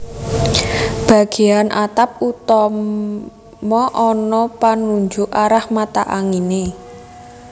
Bagéyan atap utama ana panunjuk arah mata anginé